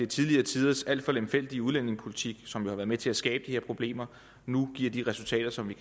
tidligere tiders alt for lemfældige udlændingepolitik som har været med til at skabe de her problemer nu giver de resultater som vi